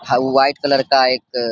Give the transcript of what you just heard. हौ white colour का एक --